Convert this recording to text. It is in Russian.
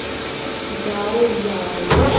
гаояо